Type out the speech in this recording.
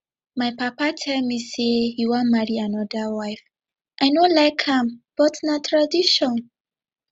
my papa tell me say he wan marry another wife i no like am but na tradition